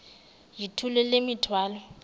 yithula le mithwalo